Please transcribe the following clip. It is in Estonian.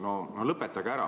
No lõpetage ära!